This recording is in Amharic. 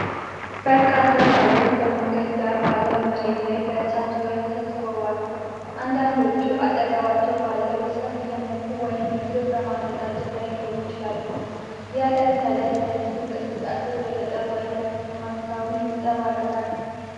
በርካታ ሰዎች በመንገድ ዳር ባለው መሬት ላይ በእሳት ዙሪያ ተሰብስበዋል። አንዳንዶቹ አጠገባቸው ባለው እሳት እየሞቁ ወይም ምግብ በማዘጋጀት ላይ ሊሆኑ ይችላሉ። የእለት ተዕለት የህዝብ እንቅስቃሴ በገጠር ወይም በከተማ አካባቢ ይንጸባረቃል።